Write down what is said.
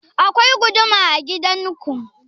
Akwai guduma a gidan ku?